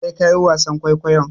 Sai ka yi wasan kwaikwayon.